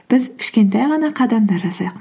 біз кішкентай ғана қадамдар жасайық